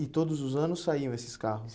E todos os anos saíam esses carros?